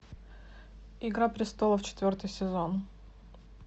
игра престолов четвертый сезон